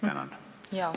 Jaa.